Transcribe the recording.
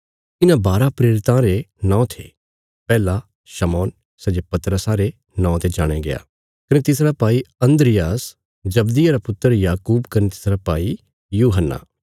इन्हां बारा प्रेरितां रे नौं थे पैहला शमौन सै जे पतरसा रे नौआं ते जाणया गया कने तिसरा भाई अन्द्रियास जब्दिये रा पुत्र याकूब कने तिसरा भाई यूहन्ना